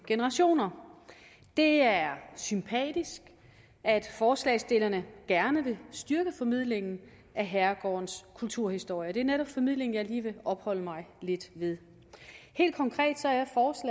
generationer det er sympatisk at forslagsstillerne gerne vil styrke formidlingen af herregårdens kulturhistorie det er netop formidlingen jeg lige vil opholde mig lidt ved helt konkret